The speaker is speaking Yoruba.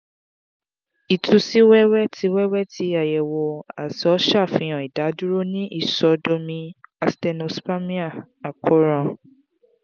itu si wẹwẹ ti wẹwẹ ti ayewo àtọ safihan idaduro ni isodomi asthenospermia akoran